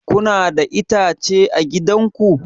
Kuna da itace a gidan ku?